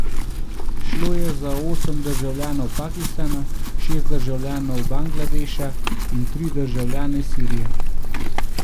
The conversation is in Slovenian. Šlo je za osem državljanov Pakistana, šest državljanov Bangladeša in tri državljane Sirije.